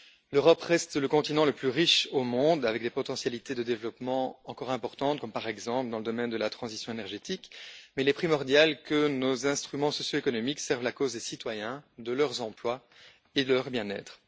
L'Europe reste le continent le plus riche au monde, avec des potentialités de développement encore importantes, comme, par exemple, dans le domaine de la transition énergétique, mais il est primordial que nos instruments socio économiques servent la cause des citoyens, de leurs emplois et de leur bien être.